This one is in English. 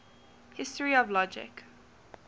history of logic